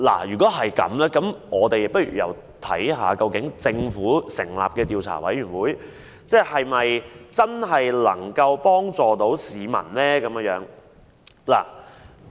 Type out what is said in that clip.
如果這樣，我們不妨看看，由政府成立的調查委員會是否真的可以幫助市民？